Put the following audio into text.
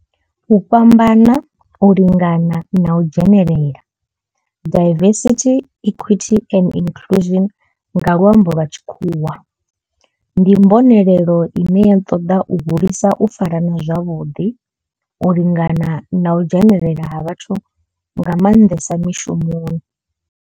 U fhambana, u lingana na u dzhenelela diversity, equity and inclusion nga lwambo lwa tshikhuwa ndi mbonelelo ine ya toda u hulisa u farana zwavhuḓi, u lingana na u dzhenelela ha vhathu nga manḓesa mishumoni.